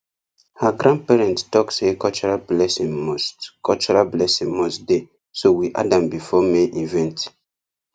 her grandparents talk say cultural blessing must cultural blessing must dey so we add am before main event